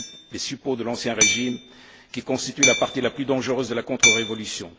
les suppôts de l'ancien régime, qui constitue la partie la plus dangereuse de la contre révolution.